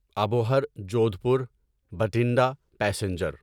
Abohar Jodhpur Bathinda passenger